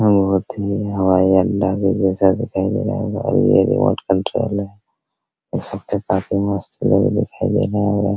बहुत ही हवाई अड्डा के जैसा दिखाई दे रहा होगा और ये रिमोट कंट्रोल है देख सकते हैं काफी मस्त लुक दिखाई दे रहा होगा |